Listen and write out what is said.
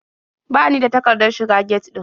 Ba ni da takardar shiga get ɗin.